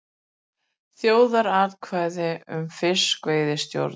Þjóðaratkvæði um fiskveiðistjórnun